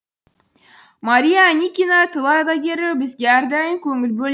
мария аникина тыл ардагері бізге әрдайым көңіл бөл